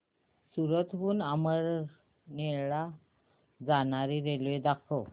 सूरत हून अमळनेर ला जाणारी रेल्वे दाखव